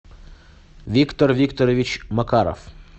виктор викторович макаров